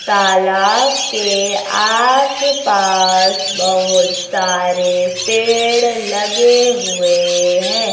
तालाब के आस पास बहुत सारे पेड़ लगे हुए हैं।